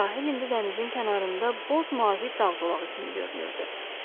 Sahil ində dənizin kənarında boz mavi dağ zolağı kimi görünürdü.